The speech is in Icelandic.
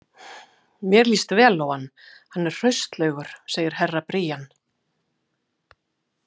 Mér líst vel á hann, hann er hraustlegur, sagði Herra Brian.